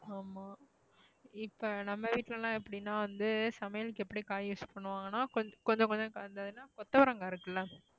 ஆமா இப்ப நம்ம வீட்டுல எல்லாம் எப்படின்னா வந்து சமையலுக்கு எப்படி காய் use பண்ணுவாங்கன்னா கொஞ்~ கொஞ்சம் கொஞ்சம் கலந்ததுன்னா கொத்தவரங்கா இருக்குல்ல